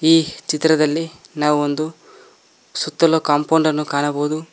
ಈ ಚಿತ್ರದಲ್ಲಿ ನಾವು ಒಂದು ಸುತ್ತಲು ಕಾಂಪೌಂಡ್ ಅನ್ನು ಕಾಣಬಹುದು.